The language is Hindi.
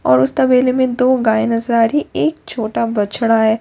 और उस तबेले में दो गाय नजर आ रही हैं एक छोटा बछड़ा हैं दो--